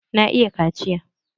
Na iya kaciya.